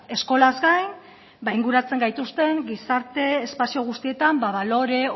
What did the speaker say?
eskolaz gain inguratzen gaituzten gizarte espazio guztietan ba balore